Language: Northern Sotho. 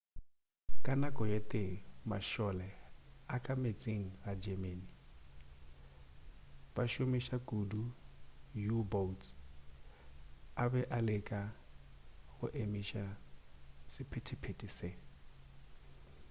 ka nako e tee mašole a ka meetseng a germany bašomiša kudu di u-boats a be a leka go emiša sephetephete se